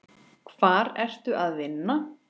Hvar ertu að vinna?